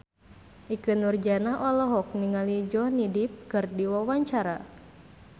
Ikke Nurjanah olohok ningali Johnny Depp keur diwawancara